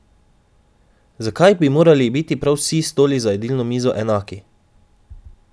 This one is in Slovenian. Zakaj bi morali biti prav vsi stoli za jedilno mizo enaki?